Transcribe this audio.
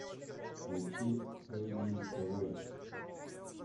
включи фэйди эвэй